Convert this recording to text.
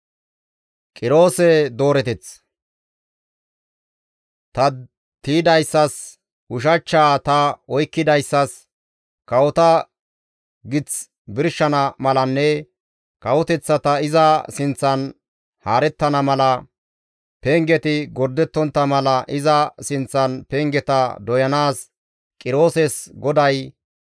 «Ta tiydayssas, ushachchaa ta oykkidayssas, kawota gith birshana malanne kawoteththati iza sinththan haarettana mala, pengeti gordettontta mala iza sinththan pengeta doyanaas Qirooses GODAY,